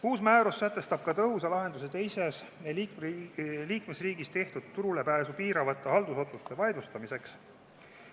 Uus määrus sätestab ka tõhusa lahenduse teises liikmesriigis tehtud turulepääsu piiravate haldusotsuste vaidlustamiseks.